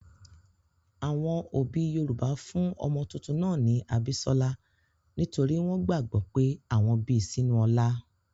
Àwọn òbí Yorùbá fún ọmọ tuntun náà ní 'Abísọ́lá' nítorí wọ́n gbàgbọ́ pé àwọn bi sínú ọlá.